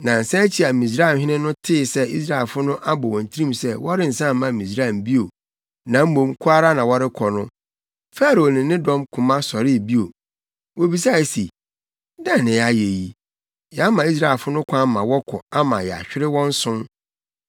Nnansa akyi a Misraimhene no tee sɛ Israelfo no abɔ wɔn tirim sɛ wɔrensan mma Misraim bio na mmom kɔ ara na wɔrekɔ no, Farao ne ne dɔm koma sɔree bio. Wobisae se, “Dɛn na yɛayɛ yi? Yɛama Israelfo no kwan ma wɔkɔ ama yɛahwere wɔn som!”